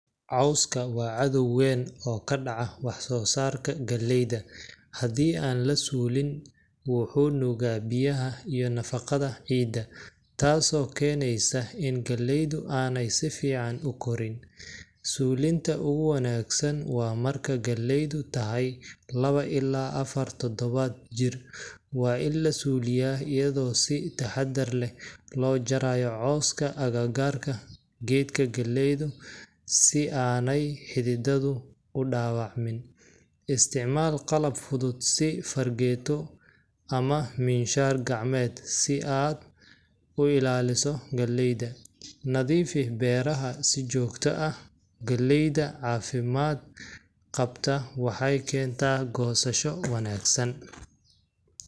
Cawska waa cadow weyn oo ka dhaca wax-soo-saarka galleyda. Haddii aan la suulin, wuxuu nuugaa biyaha iyo nafaqada ciidda, taasoo keenaysa in galleydu aanay si fiican u koraan. Suulinta ugu wanaagsan waa marka galleydu tahay lawo ilaa afar toddobaad jir. Waa in la suuliyaa iyadoo si taxaddar leh loo jarayo cawska agagaarka geedka galleyda si aanay xididdadu u dhaawacmin. Isticmaal qalab fudud si fargeeto ama minshaar gacmeed, si aad u ilaaliso galleyda. Nadiifi beerahaaga si joogto ah galleyda caafimaad qabta waxay keentaa goosasho wanaagsan.